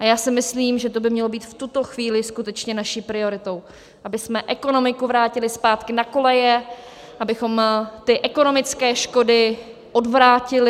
A já si myslím, že to by mělo být v tuto chvíli skutečně naší prioritou, abychom ekonomiku vrátili zpátky na koleje, abychom ty ekonomické škody odvrátili.